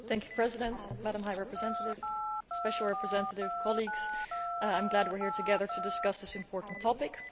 Madam President, Madam High Representative, Special Representative, colleagues, I am glad we are here together to discuss this important topic.